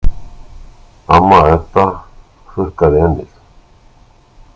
Amma Edda hrukkaði ennið.